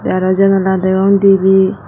tay arow janala degong dibey.